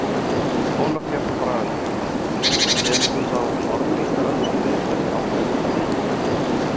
Ólöf Björk Bragadóttir: En telur þú þá Norðlingaölduveita sé ásættanleg?